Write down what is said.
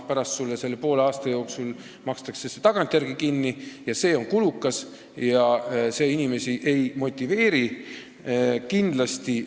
Pärast makstakse see sulle poole aasta jooksul tagantjärele kinni – see on kulukas ja ei motiveeri inimesi.